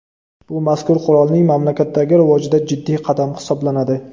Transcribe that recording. Bu mazkur qurolning mamlakatdagi rivojida jiddiy qadam hisoblanadi.